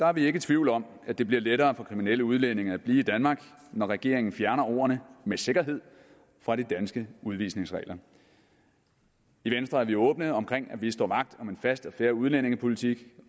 er vi ikke i tvivl om at det bliver lettere for kriminelle udlændinge at blive i danmark når regeringen fjerner ordene med sikkerhed fra de danske udvisningsregler i venstre er vi åbne om at vi står vagt om en fast og fair udlændingepolitik